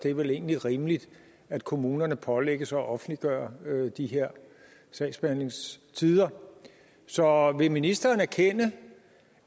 det er vel egentlig rimeligt at kommunerne pålægges at offentliggøre de her sagsbehandlingstider så vil ministeren erkende